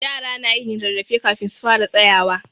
Yara na yin rarrafe kafin su fara tsayawa.